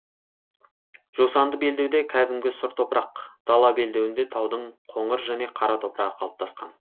жусанды белдеуде кәдімгі сұр топырақ дала белдеуінде таудың қоңыр және қара топырағы қалыптасқан